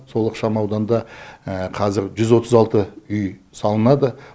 сол ықшам ауданда қазір жүз отыз алты үй салынады